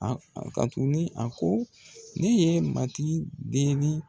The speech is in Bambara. A ka tuguni, a ko ne ye matigi deli